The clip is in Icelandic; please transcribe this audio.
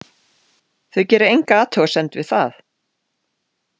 Þau gera enga athugasemd við það.